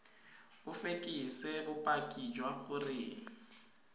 o fekese bopaki jwa gore